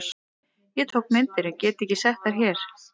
Ég tók myndir en get ekki sett þær hér.